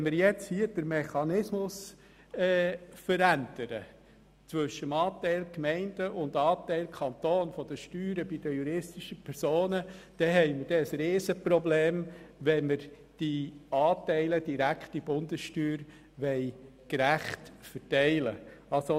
Wenn wir nun bei der Steuer für die juristischen Personen den Mechanismus zwischen dem Anteil Gemeinden und dem Anteil Kanton verändern, dann werden wir ein riesiges Problem haben, wenn wir die Anteile der direkten Bundessteuer gerecht verteilen wollen.